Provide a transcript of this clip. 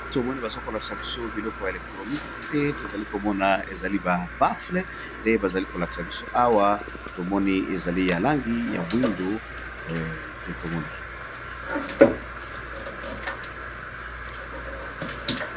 To moni baza ko lakisa biso biloko ya electronique, to zali ko mona ezali ba baffle nde ba zali ko lakisa biso awa, to moni ezali ya langi ya moyindo et to moni .